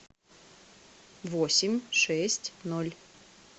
восемь шесть ноль